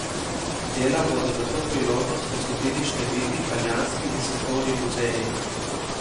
Dela bodo za to priložnost posodili številni italijanski in svetovni muzeji.